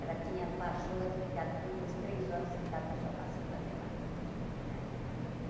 Ela tinha a pachorra de ficar duas, três horas sentada no sofá sem fazer nada né.